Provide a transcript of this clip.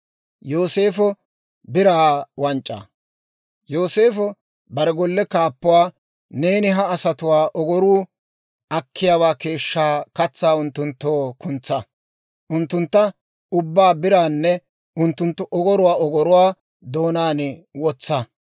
Yooseefo bare golle kaappuwaa, «Neeni ha asatuwaa ogoruu akiyaawaa keeshshaa katsaa unttunttoo kuntsaa; unttunttu ubbaa biraakka unttunttu ogoruwaa ogoruwaa doonaan wotsa;